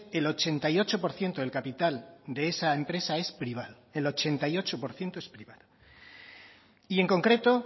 el ochenta y ocho por ciento del capital de esa empresa es privado el ochenta y ocho por ciento es privado y en concreto